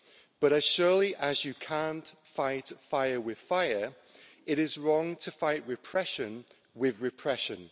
But as surely as you can't fight fire with fire, it is wrong to fight repression with repression.